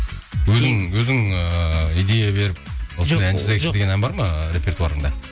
өзің ыыы идея беріп осындай ән жазайықшы деген ән бар ма репертуарыңда